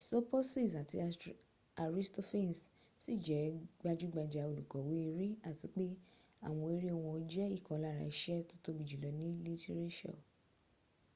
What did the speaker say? sopocies àti aristophanes ṣì jẹ́ gbajúgbajà olùkọ̀wé eré àti pé àwọn eré wọn jẹ́ ìkan lára iṣẹ́ tó tóbi jù lọ ní lítírésọ̀